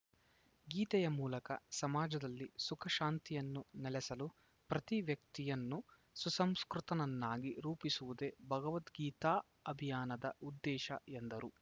ಗೀತೆಯ ಮೂಲಕ ಸಮಾಜದಲ್ಲಿ ಸುಖ ಶಾಂತಿಯನ್ನು ನೆಲೆಸಲು ಪ್ರತಿ ವ್ಯಕ್ತಿಯನ್ನು ಸುಸಂಸ್ಕೃತನನ್ನಾಗಿ ರೂಪಿಸುವುದೇ ಭಗವದ್ಗೀತಾ ಅಭಿಯಾನದ ಉದ್ದೇಶ ಎಂದರು